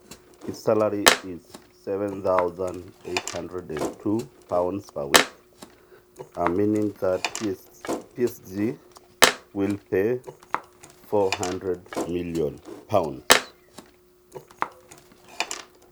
Ore ormushara lenye le £ nkalisuni napishana omiyai isiet o ipare te wiki neimanisha njere PSG kelak £ milioni iponguan.